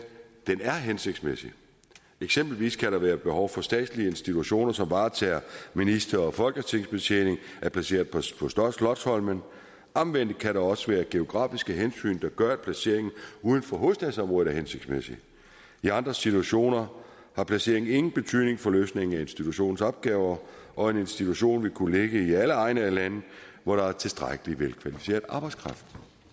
er hensigtsmæssig eksempelvis kan der være behov for at statslige institutioner som varetager minister og folketingsbetjening er placeret på slotsholmen omvendt kan der også være geografiske hensyn der gør at placeringen uden for hovedstadsområdet er hensigtsmæssig i andre situationer har placeringen ingen betydning for løsningen af institutionens opgaver og en institution ville kunne ligge i alle egne af landet hvor der er tilstrækkelig velkvalificeret arbejdskraft